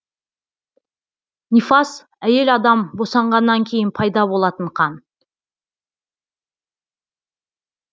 нифас әйел адам босанғаннан кейін пайда болатын қан